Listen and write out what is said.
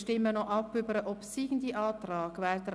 Wir stimmen nun über den obsiegenden Antrag ab.